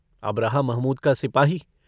अब रहा महमूद का सिपाही।